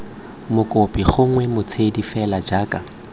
mokopi gongwe motshodi fela jaaka